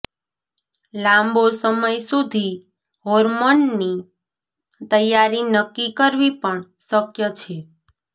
લાંબો સમય સુધી હોર્મોનની તૈયારી નક્કી કરવી પણ શક્ય છે